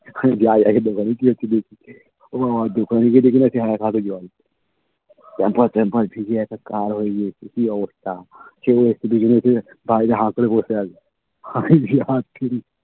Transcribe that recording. এক্ষুনি যাই আগে দোকানে গিয়ে একটু দেখি ও বাবা দোকানে গিয়ে দেখি নাকি এক হাটু জল pampers ট্যাম্পাস ভিজে একাকার হয়ে গিয়েছে কি অবস্থা চৌরাস্তা তে দুজন এসে বাইরে হা করে বসে আছে আমি যাচ্ছি